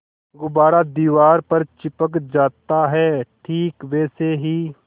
गुब्बारा दीवार पर चिपक जाता है ठीक वैसे ही